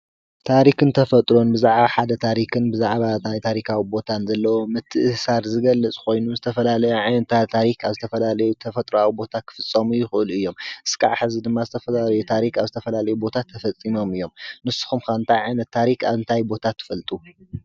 ታሪክን ተፈጥሮን ብዛዕባ ሓደ ታሪኽን ብዛዕባ ናይ ታሪካዊ ቦታታትን ዘለዎም ምትእስሳር ዝገለፅኾይኑ ዝተፈላለየ ዓየነታት ታሪኽ ኣብ ዝተፈላለዩ ተፈጥሮኣዊ ቦታ ኽፍጾሙ ይኽእሉ እዮም፡፡ እስካዕ ሕዚ ድማ ዝተፈላለየ ታሪኽ ኣብ ዝተፈላለዩ ቦታታት ተፈፂሞም እዮም፡፡ ንሱኹም ከ እንታይ ዓይነትታሪኽ ኣብ እንታይ ቦታ ትፈልጡ?